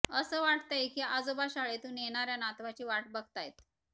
अस वाटतय की आजोबा शाळेतून येणार्या नातवाची वाट बघतायत